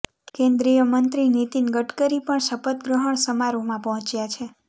કેન્દ્રીય મંત્રી નીતિન ગડકરી પણ શપથગ્રહણ સમારોહમાં પહોંચ્યા છે